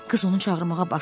Qız onu çağırmağa başladı.